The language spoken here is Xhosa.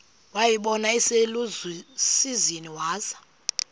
wayibona iselusizini waza